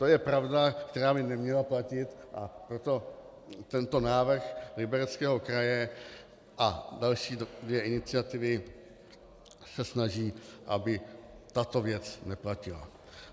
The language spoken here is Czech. To je pravda, která by neměla platit, a proto tento návrh Libereckého kraje a další dvě iniciativy se snaží, aby tato věc neplatila.